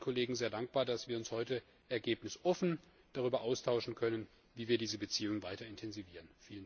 Ich bin allen Kollegen sehr dankbar, dass wir uns heute ergebnisoffen darüber austauschen können, wie wir diese Beziehung weiter intensivieren.